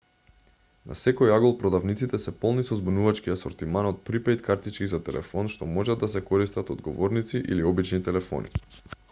на секој агол продавниците се полни со збунувачки асортиман од припејд картички за телефон што можат да се користат од говорници или обични телефони